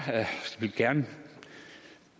vil gerne